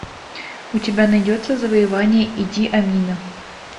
у тебя найдется завоевание иди амина